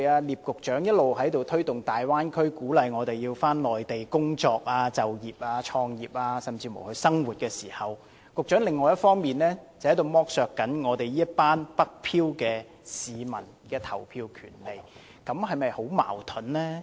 聶局長一方面一直推動大灣區發展，鼓勵我們到內地工作、就業、創業甚至生活，另一方面卻剝削"北漂"市民的投票權利，這是否很矛盾呢？